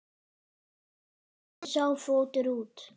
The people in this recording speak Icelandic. Hvernig lítur sá fótur út?